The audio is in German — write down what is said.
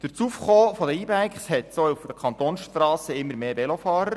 Durch das Aufkommen der E-Bikes hat es auch auf den Kantonsstrassen immer mehr Velofahrer.